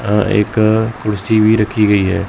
अ एक कुड़सी भी रखी गई हैं।